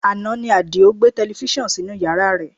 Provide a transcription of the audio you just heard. Àná ni Adio gbé tẹlifísàn sínú yàrá rẹ̀